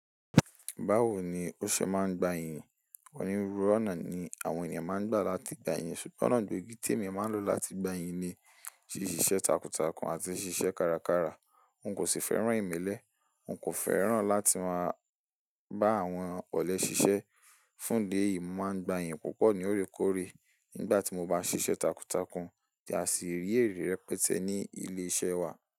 Báwo ni ó ṣe máa ń gba yìnyín? Ọ̀nírúurú ọ̀nà ni àwọn ènìyàn máa ń gbà láti gba yìnyín ṣùgbọ́n ọ̀nà tó gítèmi máa ń lò láti gba yìnyín ni ṣíṣe takuntakun àti ṣíṣe kárakára. N kò sì fẹ́ràn ìmílẹ̀, n kò fẹ́ràn láti máa bá àwọn ọ̀lẹ ṣiṣẹ́. Fún dé yìí, máa ń gba yìnyín púpọ̀ ní órékóre nígbà tí mo bá ṣíṣe takuntakun, tí a sì rí èrè rẹpẹtẹ ní ilé-iṣẹ́ wa.